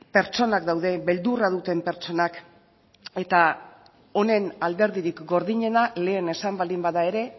pertsonak daude beldurra duten pertsonak eta honen alderdirik gordinena lehen esan baldin bada ere